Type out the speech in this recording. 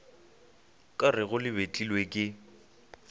ka rego le betlilwe ke